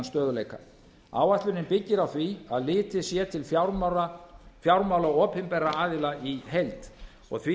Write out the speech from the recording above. stöðguleika áætlunin byggir á því að litið sé til fjármála opinberra aðila í heild og því